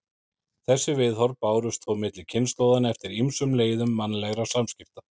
Þessi viðhorf bárust þó milli kynslóðanna eftir ýmsum leiðum mannlegra samskipta.